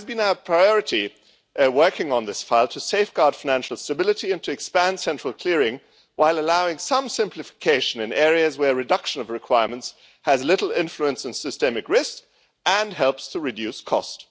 It has been our priority, in working on this file, to safeguard financial stability and to expand central clearing, while allowing some simplification in areas where reduction of requirements has little influence on systemic risk and helps to reduce cost.